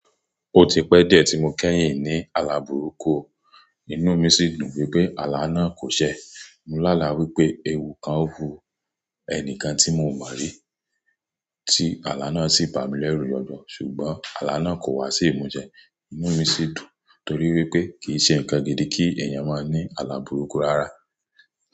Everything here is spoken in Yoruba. Ó ti pẹ́ díẹ̀ tí mo kẹ́yìn ní àlàbùrúkù, inú mi sì dùn wípé àlá náà kò ṣẹ. Mo lá àlá wípé ewu kan ń wu ẹni kan tí mo mọ́ rí tí àlá náà sì bà mí lẹ́rù ní ọjọ́. Ṣùgbọ́n àlá náà kò wá sí ìmúsẹ. Inú mi sì dùn torí wípé kì í ṣe ǹkan gidi kí ẹ̀yàn máa ní àlàbùrúkù rárá.